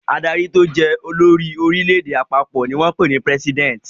Adarí tó jẹ́ olórí orílẹ̀-èdè àpapọ̀ ni wọ́n ń pè ní president.